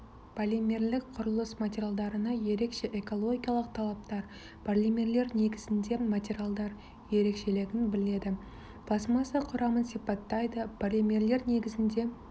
полимерлік құрылыс материалдарына ерекше экологиялық талаптар полимерлер негізінде материалдар ерекшелігін біледі пластмасса құрамын сипаттайды полимерлер негізінде